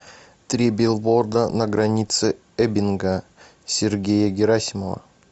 три билборда на границе эббинга сергея герасимова